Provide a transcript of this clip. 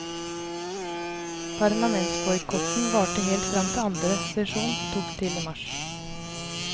Parlamentsboikotten varte helt fram til andre sesjon tok til i mars.